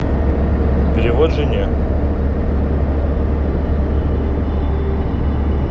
перевод жене